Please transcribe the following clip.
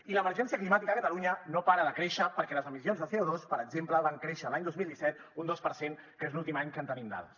i l’emergència climàtica a catalunya no para de créixer perquè les emissions de co2 per exemple van créixer l’any dos mil disset un dos per cent que és l’últim any que en tenim dades